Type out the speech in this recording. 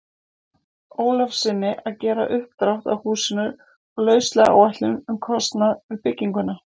Ólafssyni að gera uppdrátt að húsinu og lauslega áætlun um kostnað við bygginguna.